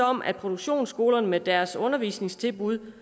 om at produktionsskolerne med deres undervisningstilbud